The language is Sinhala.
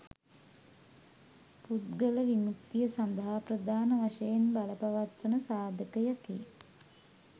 පුද්ගල විමුක්තිය සඳහා ප්‍රධාන වශයෙන් බලපවත්වන සාධකයකි